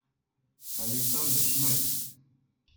александр шмальц